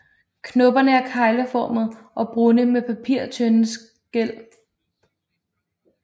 Knopperne er kegleformede og brune med papirtynde skæl